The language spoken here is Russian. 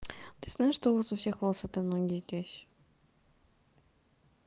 ты знаешь что у вас у всех волосатые ноги здесь